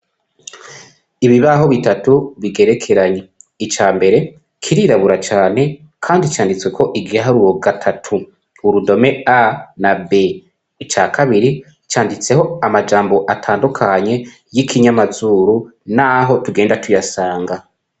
ibibaho bitatu bigerekeranye icya mbere kirirabura cyane kandi cyanditswe ko igiharuro gatatu urudome a na b cya kabiri cyanditseho amajambo atandukanye y'ikinyamazuru n'aho tugenda tuyasanga